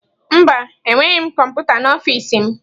Mba, enweghị m kọmputa n'ọfịs m.